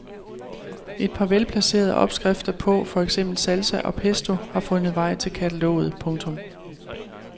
Et par velplacerede opskrifter på for eksempel salsa og pesto har fundet vej til kataloget. punktum